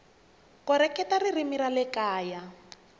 koreketa ririmi ra le kaya